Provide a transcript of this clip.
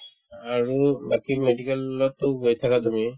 আৰু বাকি medical ততো গৈ থাকা তুমি